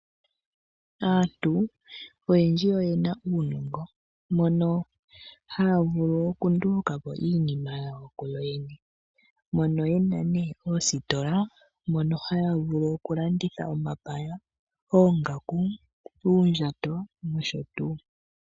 Aantu oyendji oyena uunongo moka haya vulu okundulukapo iinima kuyoyene. Oyena oositola mono haya vulu okulanditha omapaya, oongaku, uundjato nosho tuu.